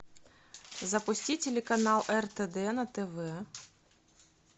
запусти телеканал ртд на тв